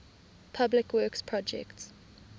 public works projects